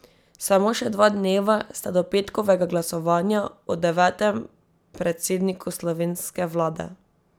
Samo še dva dneva sta do petkovega glasovanja o devetem predsedniku slovenske vlade.